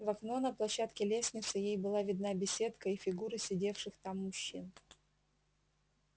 в окно на площадке лестницы ей была видна беседка и фигуры сидевших там мужчин